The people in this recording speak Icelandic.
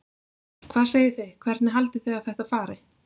Hvað segið þið, hvernig haldið þið að þetta fari?